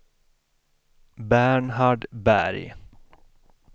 Bernhard Berg